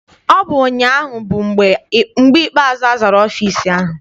Ọ bụ ụnyaahụ bụ mgbe ikpeazụ azara ọfịịsi ahụ.